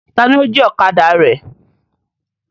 Taàní ó jí ọ̀kadà rẹ?